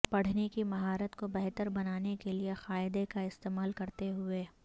پڑھنے کی مہارت کو بہتر بنانے کے لئے قاعدہ کا استعمال کرتے ہوئے